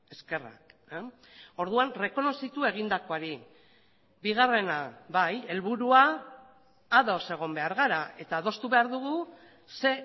eskerrak orduan errekonozitu egindakoari bigarrena bai helburua ados egon behar gara eta adostu behar dugu ze